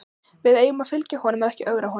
Við eigum að fylgja honum en ekki ögra honum.